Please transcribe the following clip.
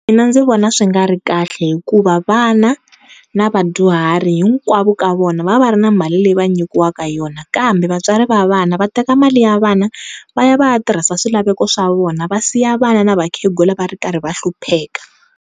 Mina ndzi vona swi nga ri kahle hikuva vana na vadyuhari hinkwavo ka vona va va va ri na mali leyi va nyikiwaka yona, kambe vatswari va vana vateka mali ya vana va ya va ya tirhisa swilaveko swa vona va siya vana na vakhegula va ri karhi va hlupheka.